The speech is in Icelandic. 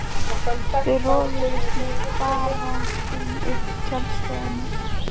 Þau roguðust með farangurinn upp að tjaldstæðinu.